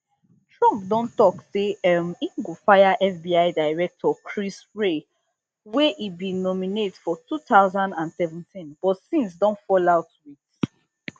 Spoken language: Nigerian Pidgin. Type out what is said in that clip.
trump don tok say um e go fire fbi director chris wray wey e bin nominate for two thousand and seventeen but since don fall out wit